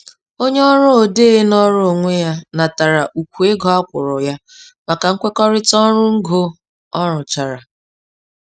Onye ọrụ odee nọọrọ onwe ya natara ukwu ego a kwụrụ ya maka nkwekọrịta ọrụ ngo ọ rụchara.